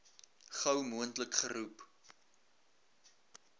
gou moontlik geroep